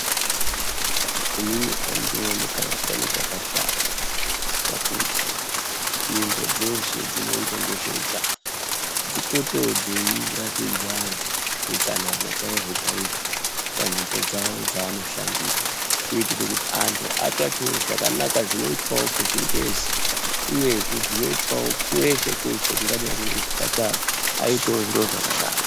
Inini andioni kana pane chakashata, pakuti nzvimbo dzeshe dzinoita nezveutano dzipote dzeiratidza anhu utsanana chaihwo chaihwo panzvimbo dzawo dzaanoshandira kuitire kuti anhu atsvakewo zvakanaka zvinoitwe kuchingezi uyezve zvingaitwe kweshe kweshe kungadai kune zvipatara aitewo zviro zvakaro.